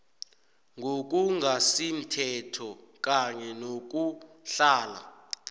ngokungasimthetho kanye nokuhlala